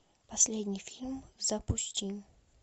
последний фильм запусти